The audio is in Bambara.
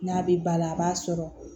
N'a bɛ ba la a b'a sɔrɔ